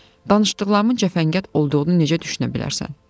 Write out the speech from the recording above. Danışdıqlarımın cəfəngiyat olduğunu necə düşünə bilərsən?